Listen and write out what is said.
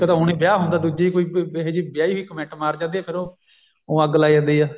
ਇੱਕ ਤਾਂ ਹੁਣ ਵਿਆਹ ਨਹੀਂ ਹੁੰਦਾ ਦੂਜੀ ਕੋਈ ਇਹੀ ਜਿਹੀ ਵਿਆਈ ਹੋਈ comment ਮਾਰ ਜਾਂਦੀ ਆ ਫੇਰ ਉਹ ਊਂ ਅੱਗ ਲਾਈ ਜਾਂਦੀ ਆ